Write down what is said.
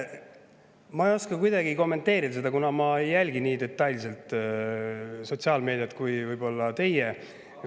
Ma ei oska seda kuidagi kommenteerida, kuna ma ei jälgi sotsiaalmeediat nii detailselt kui teie.